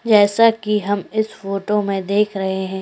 जैसा कि हम इस फोटो में देख रहे हैं --